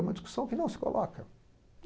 É uma discussão que não se coloca.